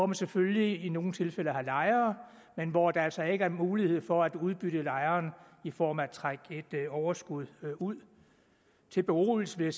man selvfølgelig i nogle tilfælde har lejere men hvor der altså ikke er mulighed for at udbytte lejeren i form af at trække et overskud ud til beroligelse vil